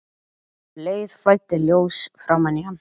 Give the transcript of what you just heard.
Um leið flæddi ljós framan í hann.